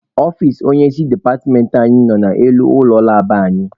Ọfici onye isi departmentị anyị nọ n'elu ụlọ labụ anyị.